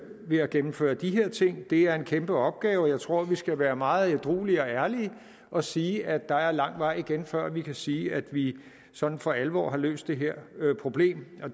ved at gennemføre de her ting det er en kæmpe opgave og jeg tror at vi skal være meget ædruelige og ærlige og sige at der er lang vej igen før vi kan sige at vi sådan for alvor har løst det her problem